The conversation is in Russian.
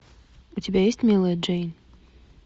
у тебя есть милая джейн